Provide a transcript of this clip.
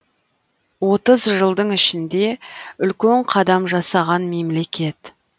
отыз жылдың ішінде үлкен қадам жасаған мемлекет